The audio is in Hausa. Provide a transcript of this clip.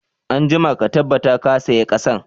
Anjima ka tabbata ka sayi ƙasan